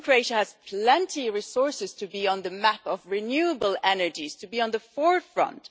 I think Croatia has plenty of resources to be on the map of renewable energies and to be at the forefront.